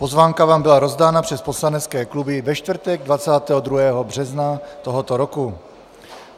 Pozvánka vám byla rozdána přes poslanecké kluby ve čtvrtek 22. března tohoto roku.